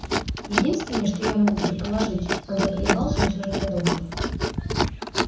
единственное что я могу предположить он заколебался но все же продолжил